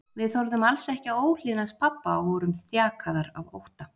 Við þorðum alls ekki að óhlýðnast pabba og vorum þjakaðar af ótta.